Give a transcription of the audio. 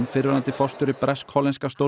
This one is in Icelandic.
fyrrverandi forstjóri bresk hollenska